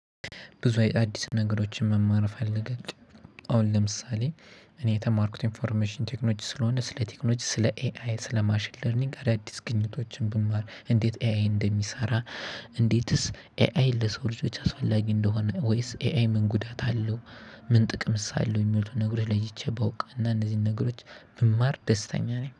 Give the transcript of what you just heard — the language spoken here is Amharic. ብዙ አዲስ ነገሮችን መማር እፈልጋለሁ። አሁን ለምሳሌ እኔ የተማርኩት ኢንፎርሜሽን ቴክኖጂ ስለሆነ ስለ ቴክኖጂ ስለ ኤአይ ስለ ማሽን ለርኒንግ አዳዲስ ግኝቶችን ብማር እንዴት ኤአይ እንደሚሰራ? እንዴትስ ኤአይ ለሰው ልጆች አስፈላጊ እንደሆነ ወይስ ኤአይ ምን ጉዳት አለው? ምን ጥቅምስ አለው የሚሉትን ነገሮች ለይቼ ባውቅ እና እነዚህን ነገሮች ብማር ደስታ ነኝ